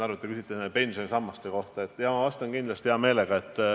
Te küsite pensionisammaste kohta ja ma vastan hea meelega.